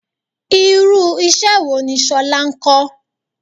Irú iṣẹ́ wo ni Ṣọlá ń kọ?